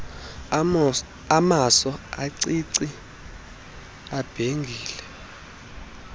amaso amacici ibhengile